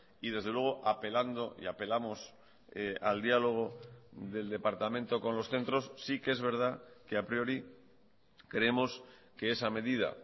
y desde luego apelando y apelamos al diálogo del departamento con los centros sí que es verdad que a priori creemos que esa medida